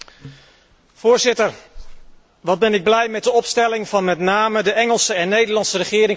Voorzitter, wat ben ik blij met de opstelling van met name de Engelse en Nederlandse regering tot nu toe.